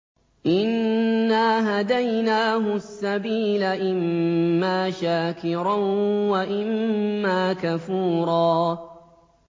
إِنَّا هَدَيْنَاهُ السَّبِيلَ إِمَّا شَاكِرًا وَإِمَّا كَفُورًا